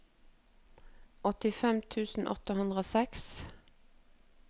åttifem tusen åtte hundre og seks